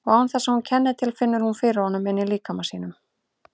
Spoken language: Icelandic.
Og án þess að hún kenni til finnur hún fyrir honum inní líkama sínum.